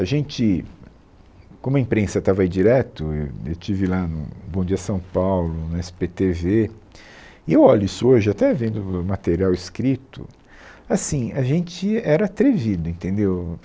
A gente, como a imprensa estava aí direto, e eu eu estive lá no Bom Dia São Paulo, no esse pê tê vê, e eu olho isso hoje, até vendo o o material escrito, assim, a gente era atrevido, entendeu?